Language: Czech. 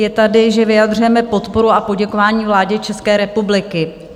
Je tady, že vyjadřujeme podporu a poděkování vládě České republiky.